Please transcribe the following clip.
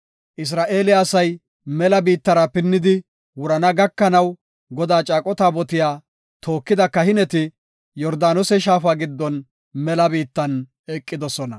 Isra7eele asay mela biittara pinnidi wurana gakanaw Godaa caaqo taabotiya tookida kahineti Yordaanose shaafa giddon mela biittan eqidosona.